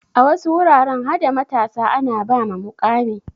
A wasu wuraren hada matasa ana ba ma muƙami.